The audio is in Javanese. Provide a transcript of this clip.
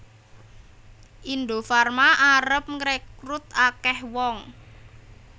Indofarma arep ngrekrut akeh wong